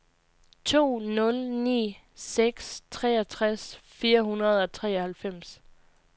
to nul ni seks treogtres fire hundrede og treoghalvfems